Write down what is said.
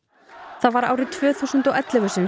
það var árið tvö þúsund og ellefu sem